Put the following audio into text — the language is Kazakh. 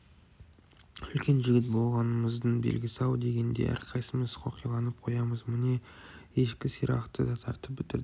үлкен жігіт болғанымыздың белгісі-ау дегендей әрқайсымыз қоқиланып қоямыз міне ешкі сирақты да тартып бітірдік